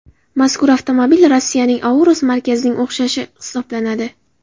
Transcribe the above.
Mazkur avtomobil Rossiyaning Aurus markasining o‘xshashi hisoblanadi.